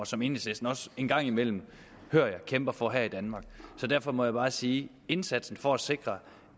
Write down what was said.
som enhedslisten også en gang imellem hører jeg kæmper for her i danmark så derfor må jeg bare sige at indsatsen for at sikre